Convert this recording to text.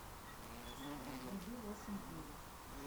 вруби восемь дней